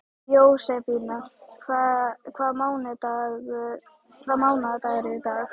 Jósebína, hvaða mánaðardagur er í dag?